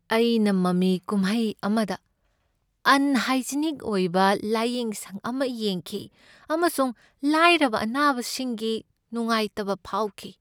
ꯑꯩꯅ ꯃꯃꯤ ꯀꯨꯝꯍꯩ ꯑꯃꯗ ꯑꯟꯍꯥꯢꯖꯤꯅꯤꯛ ꯑꯣꯢꯕ ꯂꯥꯢꯌꯦꯡꯁꯪ ꯑꯃ ꯌꯦꯡꯈꯤ ꯑꯃꯁꯨꯡ ꯂꯥꯏꯔꯕ ꯑꯅꯥꯕꯁꯤꯡꯒꯤ ꯅꯨꯡꯉꯥꯢꯇꯕ ꯐꯥꯎꯈꯤ꯫